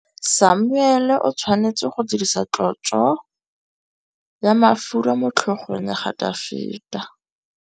Samuele o tshwanetse go dirisa tlotsô ya mafura motlhôgong ya Dafita.